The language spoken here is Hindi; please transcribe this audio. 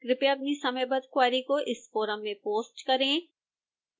कृपया अपनी समयबद्ध क्वेरी इस फोरम पर पोस्ट करें